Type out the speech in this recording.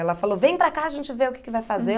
Ela falou, vem para cá, a gente vê o que que vai fazer.